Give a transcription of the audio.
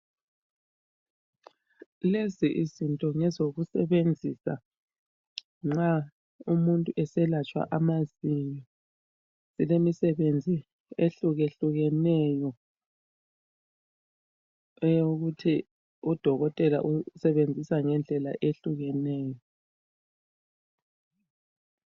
Lezi izinto ngezokusebenzisa nxa umuntu eselatshwa amazinyo. Zilemisebenzi ehlukehlukeneyo eyokuthi udokotela usebenzisa ngendlela ehlukeneyo.